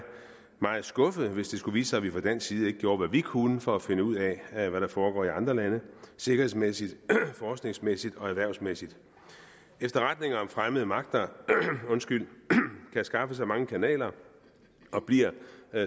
meget skuffet hvis det skulle vise sig at vi fra dansk side ikke gjorde hvad vi kunne for at finde ud af hvad der foregår i andre lande sikkerhedsmæssigt forskningsmæssigt og erhvervsmæssigt efterretninger om fremmede magter kan skaffes ad mange kanaler og bliver